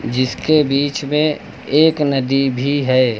जिसके बीच में एक नदी भी है।